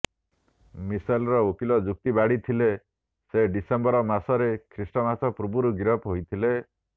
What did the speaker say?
ମିସେଲର ଓକିଲ ଯୁକ୍ତି ବାଢ଼ିଥିଲେ ସେ ଡିସେମ୍ବର ମାସରେ ଖ୍ରୀଷ୍ଟମାସ ପୂର୍ବରୁ ଗିରଫ ହୋଇଥିଲେ